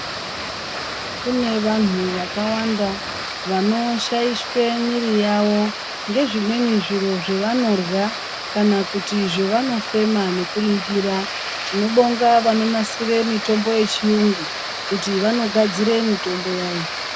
Kune vantu vakawanda vanoshaishwe mwiri yavo ngezvimweni zviro zvavanorya kana kuti zvavano fema nekuringira tinobonga vanonasire mitombo yechiyungu kuti vanogadzire mitombo yazvo.